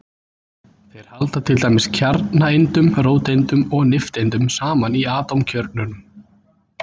Þeir halda til dæmis kjarnaeindunum, róteindum og nifteindum, saman í atómkjörnunum.